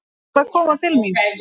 Hún var að koma til mín.